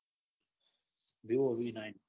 Vivo V nine